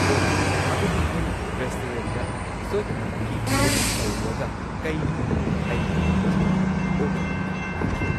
ꯑꯣ ꯑꯗꯨꯗꯤ ꯑꯩ ꯔꯦꯁꯇꯨꯔꯦꯟꯗ ꯁꯣꯏꯗꯅꯃꯛꯀꯤ ꯚꯤꯖꯤꯠ ꯇꯧꯔꯨꯔꯒ ꯀꯩꯅꯣꯗꯣ ꯑꯩ ꯈꯟꯖꯔꯒꯦ ꯑꯣꯀꯦ ꯑꯣꯀꯦ ꯊꯦꯡꯀ꯭ꯌꯨ